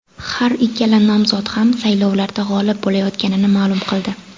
Har ikkala nomzod ham saylovlarda g‘olib bo‘layotganini ma’lum qildi.